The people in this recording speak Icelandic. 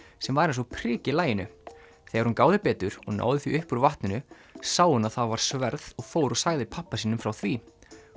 sem var eins og prik í laginu þegar hún gáði betur og náði því upp úr vatninu sá hún að var sverð og fór og sagði pabba sínum frá því